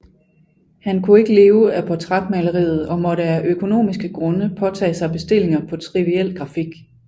Han kunne ikke leve af portrætmaleriet og måtte af økonomiske grunde påtage sig bestillinger på triviel grafik